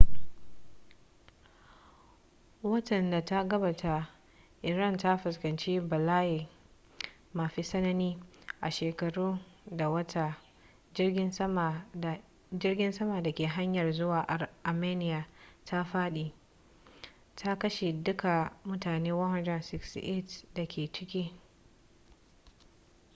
watan da ta gabata iran ta fuskanci bala'i mafi tsanani a shekaru da wata jirgin sama da ke hanyar zuwa armenia ta fadi ta kashe duka mutane 168 da ke ciki